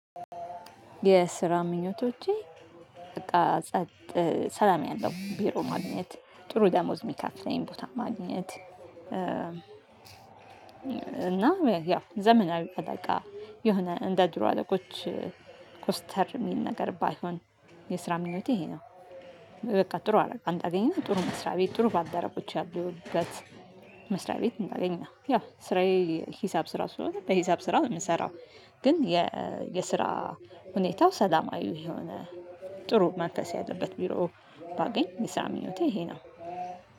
የስራ ምኞቶቼ በቃ ጸጥ ሰላም ያለው ቢሮ ማግኘት ጥሩ ደሞዝ የሚከፍለኝ ቦታ ማግኘት እና ያው ዘመናዊ አለቃ የሆነ እንደ ድሮ አለቆች ኮስተር የሚል ነገር ባይሆን የስራ ምኞቴ ይሄ ነው። በቃ ጥሩ አለቃ አገኘሁ ጥሩ መስሪያ ቤት ጥሩ ባልደረቦች ያሉበት መስሪያ ቤት እንዳገኝ ነው ያ ስራዬ። ሂሳብ ስራ ስለሆነ በሂሳብ ስራ ነው ምስራው። ግን የ የስራ ሁኔታው ሰላማዊ የሆነ ጥሩ መንፈስ ያለበት ቢሮ ባገኝ የስራ ምኞቴ ይሄ ነው።